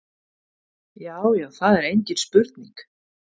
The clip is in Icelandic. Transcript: Já já, það er engin spurning.